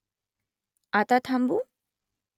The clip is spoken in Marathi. आता थांबू ?